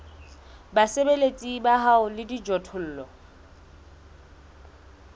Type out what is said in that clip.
basebeletsi ba hao le dijothollo